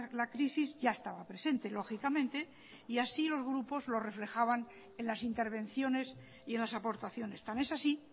la crisis ya estaba presente lógicamente y así los grupos lo reflejaban en las intervenciones y en las aportaciones tan es así